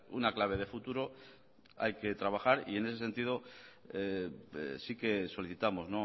una clave de futuro hay que trabajar y en ese sentido sí que solicitamos